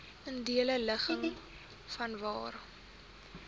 ideale ligging vanwaar